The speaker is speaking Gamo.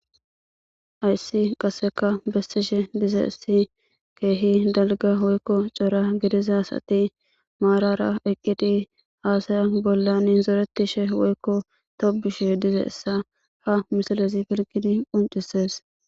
Hayssi qasseka bessishe dizayssi keehi dalgga woykko cora gidiza asati maarara eqqidi aasaya bollan zorettishe woykko tobbishe dizeyssa ha misalezi pirggidi qunccisees.